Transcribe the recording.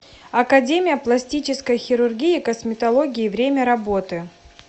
академия пластической хирургии и косметологии время работы